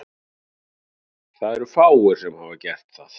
Það eru fáir sem hafa gert það.